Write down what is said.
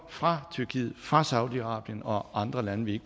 fra tyrkiet fra saudiarabien og andre lande vi